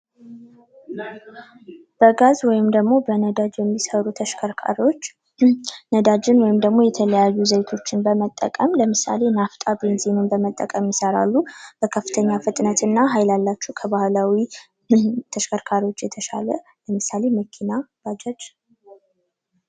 በጋዝ ወይም ደግሞ በነዳጅ የሚሰሩ ተሽከርካሪዎች ነዳጅን ወይም ደሞ የተለያዩ ዘይቶች በመጠቀም ለምሳሌ ናፍታ ቤንዚን በመጠቀም ይሠራሉ በከፍተኛ ፍጥነትና ኃይል ያላቸው ባህላዊ ተሽከርካሪዎች የተሻለ ለምሳሌ መኪናዎች ባጃጅ።